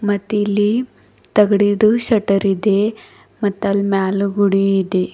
ಮತ್ ಇಲ್ಲಿ ತಗಡಿದು ಶಟರ್ ಇದೆ ಮತ್ ಅಲ್ಲಿ ಮ್ಯಾಲ್ ಗೂಡಿ ಇದೆ.